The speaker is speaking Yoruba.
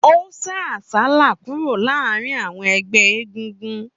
Ó sá àsálà kúrò láàárín àwọn ẹgbẹ́ egúngún